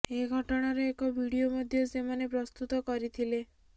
ଏ ଘଟଣାର ଏକ ଭିଡିଓ ମଧ୍ୟ ସେମାନେ ପ୍ରସ୍ତୁତ କରିଥିଲେ